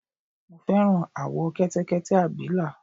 mo fẹ́ràn àwọ̀ Kẹtẹkẹtẹ abìlà